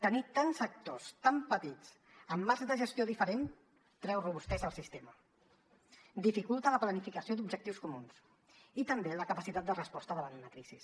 tenir tants actors tan petits amb marcs de gestió diferents treu robustesa al sistema dificulta la planificació d’objectius comuns i també la capacitat de resposta davant una crisi